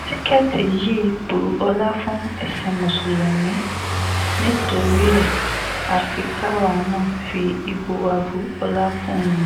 tìkẹ́ẹ̀tì yìí bu ọlá fún ẹ̀sìn mùsùlùmí ni torí ẹ̀ afi káwa náà fi ìbò wa bu ọlá fún un